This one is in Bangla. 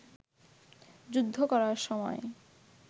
যুদ্ধ করার সময়